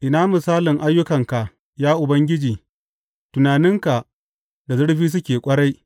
Ina misalin ayyukanka, ya Ubangiji, tunaninka da zurfi suke ƙwarai!